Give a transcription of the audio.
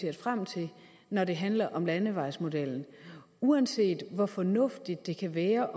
sig frem til når det handler om landevejsmodellen og uanset hvor fornuftigt det kan være